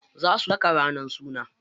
Za su saka ranar suna.